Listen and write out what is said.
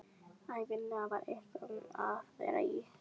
Ævinlega var eitthvað um að vera í